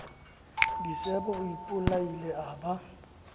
disebo o ipolaile a ba